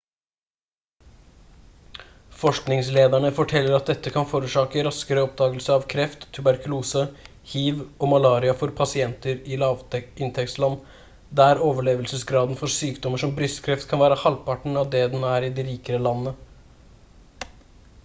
forskningslederne forteller at dette kan forårsake raskere oppdagelse av kreft tuberkulose hiv og malaria for pasienter i lavinntektsland der overlevelsesgraden for sykdommer som brystkreft kan være halvparten av det den er i de rikere landene